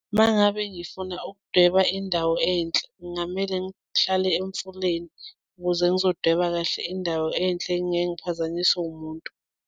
Uma ngabe ngifuna ukudweba indawo enhle kungamele ngihlale emfuleni ukuze ngizodweba kahle indawo enhle ngingeke ngiphazanyiswe wumuntu.